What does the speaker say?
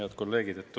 Head kolleegid!